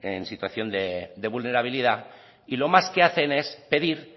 en situación de vulnerabilidad y lo más que hacen es pedir